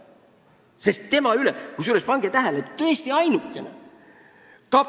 Pange tähele, et ta on praegu tõesti ainuke, kelle üle meil järelevalvet pole.